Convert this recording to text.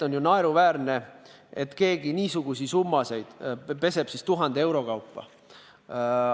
On naeruväärne, et keegi peseks niisuguseid summasid 1000 euro kaupa.